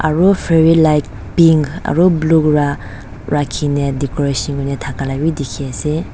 aru fairy light pink aro blue pra rakhina decoration kurina thakala bi dikhiase.